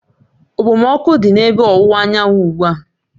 Okpomọkụ dị n'ebe ọwụwa anyanwụ ugbu a